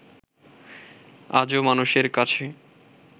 আজও মানুষের কাছে